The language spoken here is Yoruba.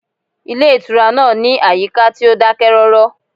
Ilé ìtura náà ní àyíká tí ó dákẹ́rọ́rọ́